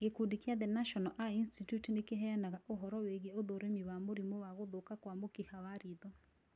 Gĩkundi gia The National Eye Institute nĩkĩheanaga ũhoro wĩgiĩ ũthũrimi wa mũrimũ wa gũthũka kwa mũkiha wa ritho